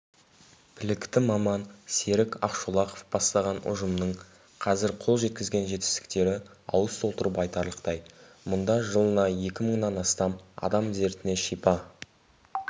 білікті маман серік ақшолақов бастаған ұжымның қазір қол жеткізген жетістіктері ауыз толтырып айтарлықтай мұнда жылына екі мыңнан астам адам дертіне шипа